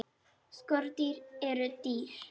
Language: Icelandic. Skordýr eru dýr.